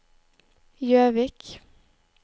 Gjøvik